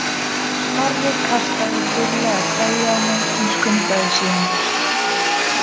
Snorri kastaði þurrlega kveðju á mig en skundaði síðan burt.